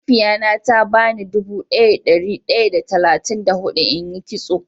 Mahaifiya na ta ba ni dubu daya da dari daya da talatin da hudu in yi kitso.